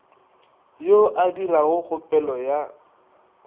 yo a dirago kgopelo ya